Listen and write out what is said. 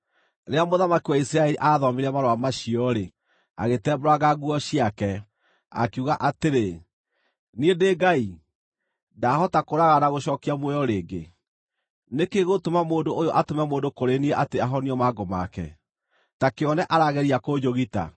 Rĩrĩa mũthamaki wa Isiraeli aathomire marũa macio-rĩ, agĩtembũranga nguo ciake, akiuga atĩrĩ, “Niĩ ndĩ Ngai? Ndaahota kũũraga na gũcookia muoyo rĩngĩ? Nĩ kĩĩ gĩgũtũma mũndũ ũyũ atũme mũndũ kũrĩ niĩ atĩ ahonio mangũ make? Ta kĩone, arageria kũnjũgita!”